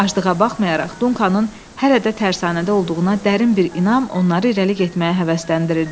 Acılığa baxmayaraq Dunkanın hələ də tərsanədə olduğuna dərin bir inam onları irəli getməyə həvəsləndirirdi.